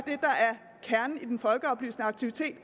kernen i den folkeoplysende aktivitet